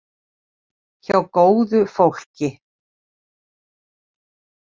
Hjá góðu fólki.